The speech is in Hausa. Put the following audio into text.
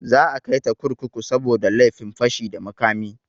Za a kaita kurkuku saboda laifin fashi da makami.